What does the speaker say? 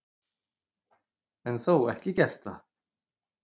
En þó ekki gert það.